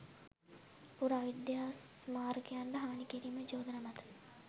පුරාවිද්‍යා ස්මාරකයන්ට හානි කිරීමේ චෝදනා මත